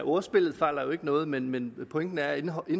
ordspillet fejler jo ikke noget men men pointen er at indholdet